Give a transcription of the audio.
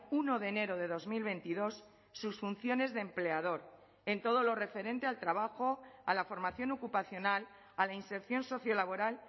uno de enero de dos mil veintidós sus funciones de empleador en todo lo referente al trabajo a la formación ocupacional a la inserción sociolaboral